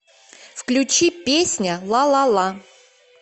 включи песня лалала